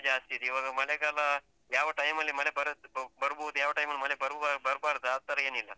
ಜಾಸ್ತಿ ಇದೆ. ಇವಾಗ, ಮಳೆಗಾಲ ಯಾವ time ಅಲ್ಲಿ ಮಳೆ ಬರುತ್ತೆ ಬರ್ಬೋದು ಯಾವ time ಅಲ್ಲಿ ಮಳೆ ಬರುವ ಬರ್ಬಾರ್ದ ಆತರ ಏನಿಲ್ಲ.